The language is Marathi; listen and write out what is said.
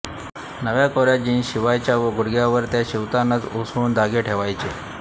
नव्याकोऱया जिन्स शिवायच्या व गुडघ्यावर त्या शिवतानाच उसवून धागे ठेवायचे